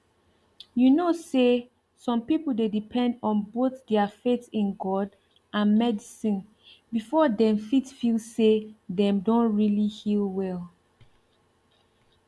you know say some people dey depend on both their faith in god and medicine before dem fit feel say dem don really heal well